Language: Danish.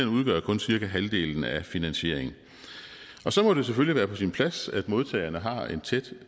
udgør kun cirka halvdelen af finansieringen og så må det selvfølgelig være på sin plads at modtagerne har en tæt